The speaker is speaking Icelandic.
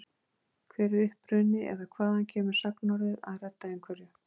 Hver er uppruni eða hvaðan kemur sagnorðið að redda einhverju?